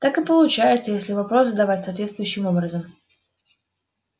так и получается если вопрос задавать соответствующим образом